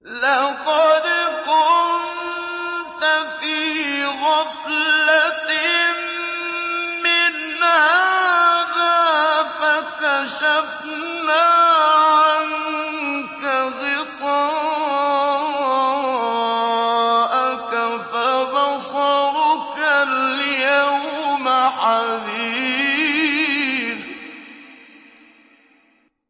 لَّقَدْ كُنتَ فِي غَفْلَةٍ مِّنْ هَٰذَا فَكَشَفْنَا عَنكَ غِطَاءَكَ فَبَصَرُكَ الْيَوْمَ حَدِيدٌ